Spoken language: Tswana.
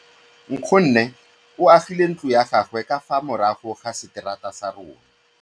Nkgonne o agile ntlo ya gagwe ka fa morago ga seterata sa rona.